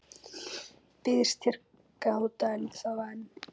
Býðst hér gáta ennþá ein,.